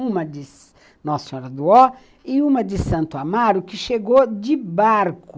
Uma de Nossa Senhora do Ó e uma de Santo Amaro, que chegou de barco.